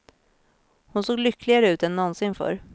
Hon såg lyckligare ut än någonsin förr.